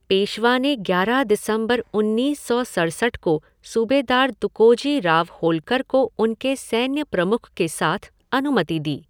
पेशवा ने ग्यारह दिसंबर उन्नीस सौ सड़सठ को सूबेदार तुकोजी राव होल्कर को उनके सैन्य प्रमुख के साथ अनुमति दी।